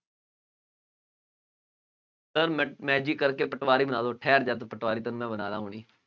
sir ma magic ਕਰਕੇ ਪਟਵਾਰੀ ਬਣਾ ਦਿਉ